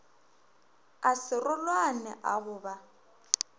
a serolwane a go ba